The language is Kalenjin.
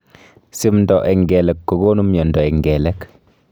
Simndo eng kelek kokonu mnyondo eng kelek